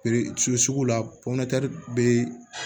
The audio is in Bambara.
sugu la bɛ